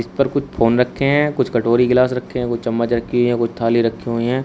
ऊपर कुछ फोन रखे हैं कुछ कटोरी ग्लास रखे हैं की चम्मच रखी है कोई थाली रखी हुई हैं।